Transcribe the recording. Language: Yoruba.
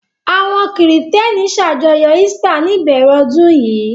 Àwọn Kìrìtẹ́ẹ́nì ṣàjọyọ̀ Easter ní ìbẹ̀rẹ̀ ọdún yìí.